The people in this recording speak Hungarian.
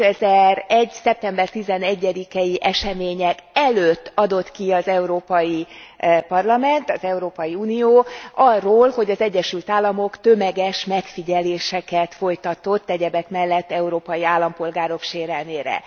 2001. szeptember 11 i események előtt adott ki az Európai Parlament, az Európai Unió, arról, hogy az Egyesült Államok tömeges megfigyeléseket folytatott, egyebek mellett európai állampolgárok sérelmére.